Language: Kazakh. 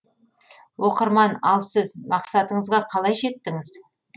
оқырман ал сіз мақсатыңызға қалай жеттіңіз